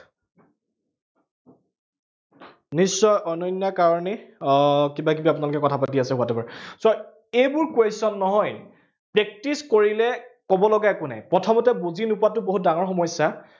নিশ্চয় অনন্য়াৰ কাৰনেই আহ কিবা কিবি আপোনালোকে কথা পাতি আছে, whatever, so এইবোৰ question নহয় practise কৰিলে কব লগা একা নাই। প্ৰথমতে বুজি নোপোৱাটো বহুত ডাঙৰ সমস্যা